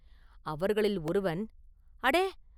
அவர்களில் ஒருவன், “அடே!